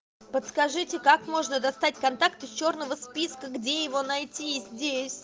подскажите как можно достать контакт из чёрного списка где его найти здесь